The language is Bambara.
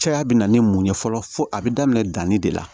Caya bɛ na ni mun ye fɔlɔ fo a bɛ daminɛ danni de la